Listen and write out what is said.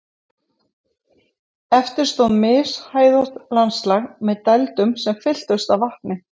Eftir stóð mishæðótt landslag með dældum sem fylltust af vatni.